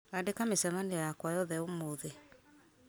andĩka mĩcemanio yakwa yothe ũmũthĩ